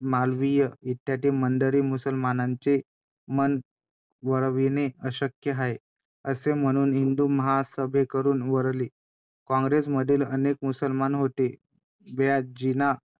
आणि एक चांगली नाण्याची बाजू ही होती की त्या काळी महादेव रानडे हे स्त्रियांसाठी आणि पूर्णतः समाजासाठी एक देणगी ठरली जणु काही आणि ते स्त्रियांसाठी भरपूर गोष्टी करायचे .